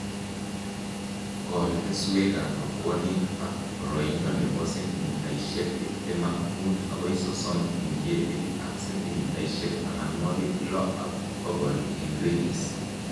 Kol keswekab rabwonik ak boroindo nebo sentimitaishek tiptem ak muut agoi sosom eng ketik ak sentimitaishek tamanwokik lo ak bokol eng ridges